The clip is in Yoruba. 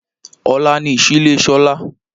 Ọ̀la ni ìsílé Sọlá